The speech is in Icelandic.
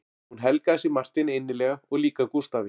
Hún helgaði sig Marteini innilega og líka Gústafi